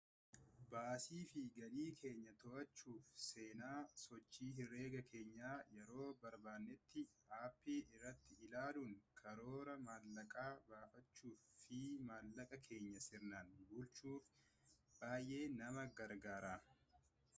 baasii fi galii keenya to’aachuuf seenaa sochii hireegaa keenya yeroo barbaannetti aappii irraatti ilaaluun karooraa maallaqaa baafachuuf fi maallaqa keenya sirnaan bulchuuf baay'ee nama gargaara.